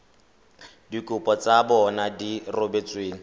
dikopo tsa bona di rebotsweng